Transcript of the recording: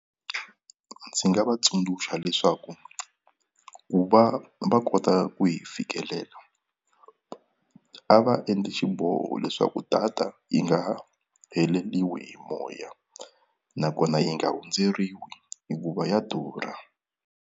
Ndzi nga va tsundzuxa leswaku ku va va kota ku yi fikelela a va endli xiboho leswaku data yi nga ha heleliwi hi moya nakona yi nga hundzeriwa hikuva ya durha.